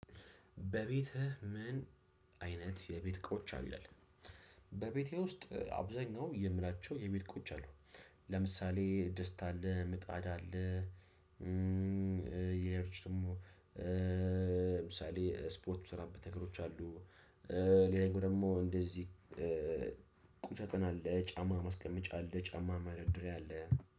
በቤትህ ምን አይነት የቤት እቃዎች አሉ? ይላል በቤቴ ውስጥ አብዛኛው የምላቸው የቤት እቃዎች አሉ። ለምሳሌ ድስት አለ፣ ምጣዳ አለ፣ ሌላ ነገሮች ደግሞ ለምሳሌ ስፖርት የምሰራበት ነገሮች አሉ። ሌላኛው ደግሞ እንደዚህ ቁም ሳጥን አለ፣ ጫማ ማስቀመጫ አለ፣ ጫማ መደርደሪያ አለ